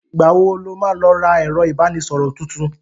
Ìgbà wo lo má lọ ra ẹ̀rọ ìbánísọ̀rọ̀ tuntun?